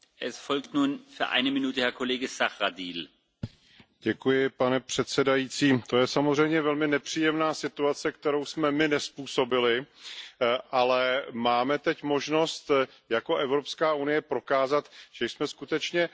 Pane předsedající, to je samozřejmě velmi nepříjemná situace, kterou jsme my nezpůsobili, ale máme teď možnost jako Evropská unie prokázat, že jsme skutečně pozitivní globální síla a že protekcionismus